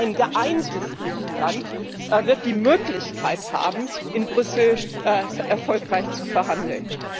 Nur ein geeintes Griechenland wird die Möglichkeit haben, in Brüssel erfolgreich zu verhandeln.